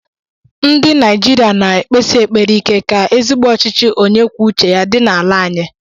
Ndị Naijiria na ekpesi ekpere ike ka ezigbo ọchịchị onye kwuo uche ya dị n'ala anyị.